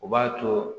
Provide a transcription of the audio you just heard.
O b'a to